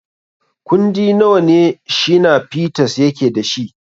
Kundi nawa ne Shina Peters yake da shi?